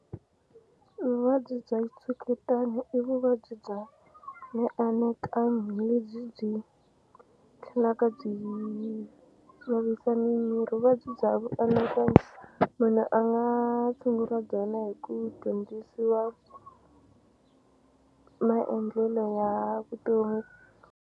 Vuvabyi bya xitshuketano i vuvabyi bya mianakanyo lebyi byi tlhelaka byi vavisa mimiri vuvabyi bya vuanakanyo munhu a nga tshunguriwa byona hi ku dyondzisiwa maendlelo ya vutomi.